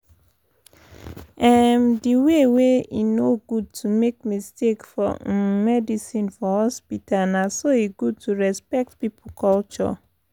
emm di way wey e no good to make mistake for um medicine for hospita na so e good to respect pipo culture.